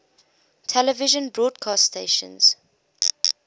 television broadcast stations